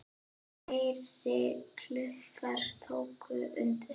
Fleiri klukkur tóku undir.